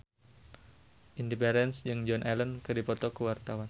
Indy Barens jeung Joan Allen keur dipoto ku wartawan